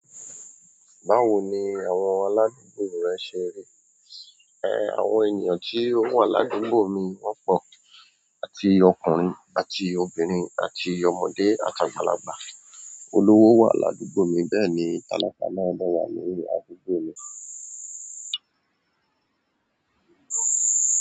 Báwo ni àwọn aládùúgbò rẹ ṣe rí? Àwọn ènìyàn tí ó wà ládùúgbò mi wọ́pọ̀ àti ọkùnrin àti obìnrin àti ọmọdé àti àgbàlagbà. Olówo wà ládùúgbò mi, bẹ́ẹ̀ni talakà náà dá wà ni aládùúgbò mi.